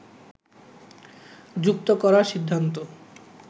যুক্ত করার সিদ্ধান্ত